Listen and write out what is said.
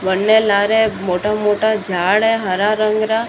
वन्ने लारे मोटा मोटा झाड़ है हरा रंग रा।